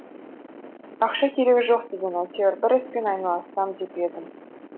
ақша керегі жоқ деген әйтеуір бір іспен айналыссам деп едім